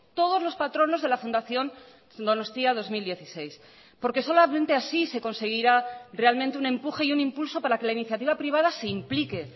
todos los patronos de la fundación donostia dos mil dieciséis porque solamente así se conseguirá realmente un empuje y un impulso para que la iniciativa privada se implique